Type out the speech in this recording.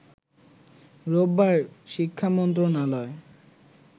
রোববার শিক্ষা মন্ত্রণালয়